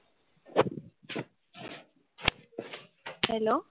Hello.